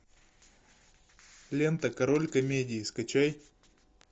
лента король комедий скачай